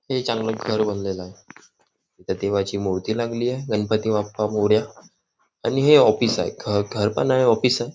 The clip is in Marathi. हे चांगल घर बांधलेली आहे इथे देवाची मूर्ती लागलेली आहे गणपती बाप्पा मोरया आणि हे ऑफिस आहे घर पण आहे ऑफिस आहे.